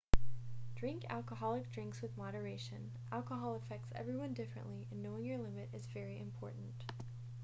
drink alcoholic drinks with moderation alcohol affects everyone differently and knowing your limit is very important